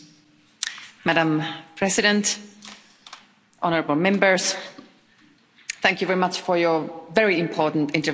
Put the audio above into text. Madam President, honourable Members, thank you very much for your very important interventions.